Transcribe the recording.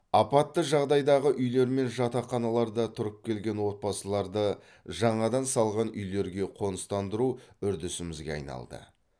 апатты жағдайдағы үйлер мен жатақханаларда тұрып келген отбасыларды жаңадан салған үйлерге қоныстандыру үрдісімізге айналды